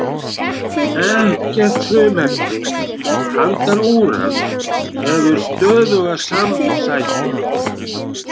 Ekkert frumefni handan úrans hefur stöðuga samsætu.